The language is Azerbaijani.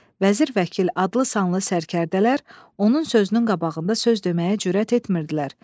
Vəzir, vəkil adlı sanlı sərkərdələr onun sözünün qabağında söz deməyə cürət etmirdilər.